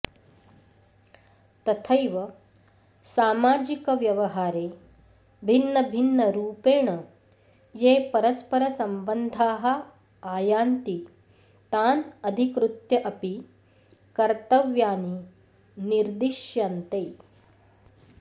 तथैव सामाजिकव्यवहारे भिन्नभिन्नरुपेण ये परस्परसम्बन्धाः आयान्ति तान् अधिकृत्य अपि कर्तव्यानि निर्दिश्यन्ते